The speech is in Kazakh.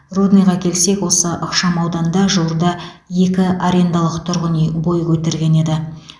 рудныйға келсек осы ықшамауданда жуырда екі арендалық тұрғын үй бой көтерген еді